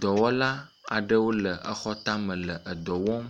Dɔwɔla aɖewo le xɔ tame le edɔ wɔm.